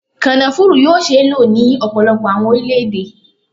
Kònafuru yoo ṣee lo ni ọpọlọpọ awọn orilẹ-ede